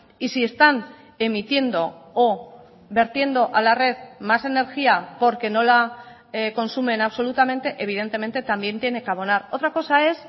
y si están emitiendo o vertiendo a la red más energía porque no la consumen absolutamente evidentemente también tiene que abonar otra cosa es